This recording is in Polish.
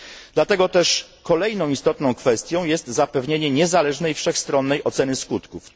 Dlatego też kolejną istotną kwestią jest zapewnienie niezależnej, wszechstronnej oceny skutków.